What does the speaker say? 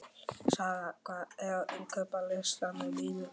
Sara, hvað er á innkaupalistanum mínum?